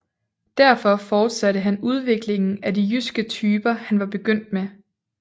Derfor fortsatte han udviklingen af de jyske typer han var begyndt med